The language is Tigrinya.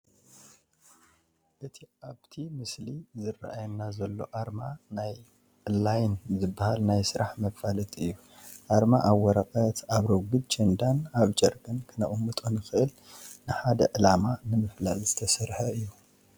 እቲ ኣብቲ ምስሊ ዝራኣየና ዘሎ ኣርማ ናይ ላይን ዝባሃል ናይ ስራሕ መፋለጢ እዩ፡፡ ኣርማ ኣብ ወረቐት፣ ኣብ ረጊድ ቸንዳን ኣብ ጨርቅን ክነቕምጦ ንኽእል ንሓደ ዕላማ ንምፍላጥ ዝተሰርሐ እዩ፡፡